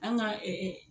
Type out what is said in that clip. An ka